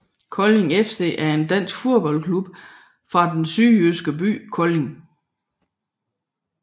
Kolding FC var en dansk fodboldklub fra den sydjyske by Kolding